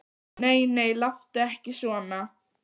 Nei, nei, láttu ekki svona.